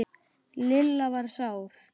Lilla var sár.